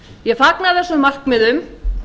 ég fagna þessum markmiðum